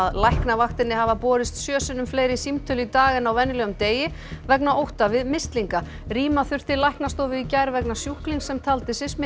læknavaktinni hafa borist sjö sinnum fleiri símtöl í dag en á venjulegum degi vegna ótta við mislinga rýma þurfti læknastofu í gær vegna sjúklings sem taldi sig